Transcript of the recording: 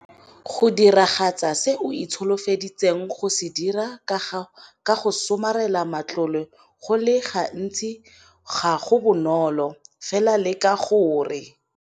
Go diragatsa se o itsholofeditseng go se dira ka go somarela matlole go le gantsi ga go bonolo, fela leka gore.